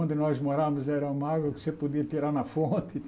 Onde nós morávamos era uma água que você podia tirar na fonte.